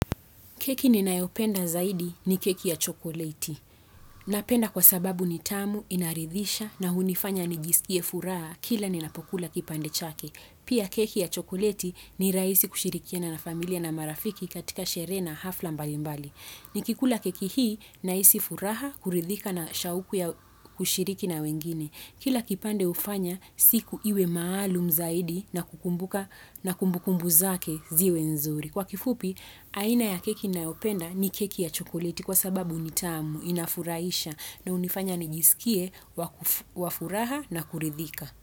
Keki ni naeopenda zaidi ni keki ya chokolati. Napenda kwa sababu ni tamu, inaridhisha na hunifanya ni gisikie furaha kila ni napokula kipande chake. Pia keki ya chokolati ni raisi kushirikiana na familia na marafiki katika shire na hafla mbali mbali. Ni kikula keki hii na isi furaha kuridhika na shauku ya kushiriki na wengine. Kila kipande ufanya siku iwe maalum zaidi na kukumbuka na kumbukumbu zake ziwe nzuri. Kwa kifupi, aina ya keki na openda ni keki ya chokoliti kwa sababu ni tamu, inafuraisha na unifanya nijisikie, wafuraha na kuridhika.